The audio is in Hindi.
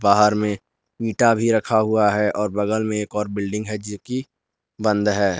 बाहर में इटा भी रखा हुआ है और बगल में एक और बिल्डिंग है जो कि बंद है।